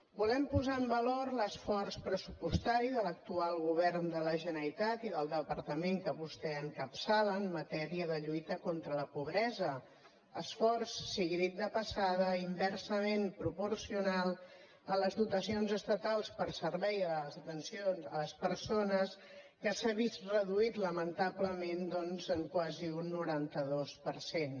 volem posar en valor l’esforç pressupostari de l’actual govern de la generalitat i del departament que vostè encapçala en matèria de lluita contra la pobresa esforç sigui dit de passada inversament proporcional a les dotacions estatals per serveis d’atenció a les persones que s’ha vist reduït lamentablement doncs en quasi un noranta dos per cent